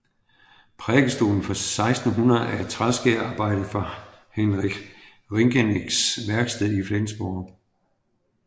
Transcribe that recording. Prædikestolen fra 1600 er et træskærerarbejde fra Hinrich Ringerincks værksted i Flensborg